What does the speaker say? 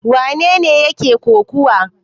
Wane ne yake kokawa?